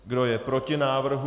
Kdo je proti návrhu?